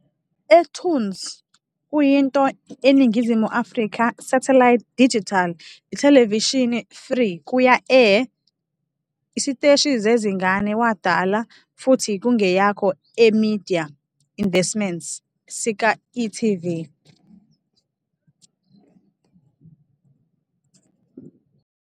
eToonz kuyinto eNingizimu Afrika satellite digital ithelevishini free-kuya-air isiteshi zezingane wadala futhi kungeyakho eMedia Investments sika e.tv.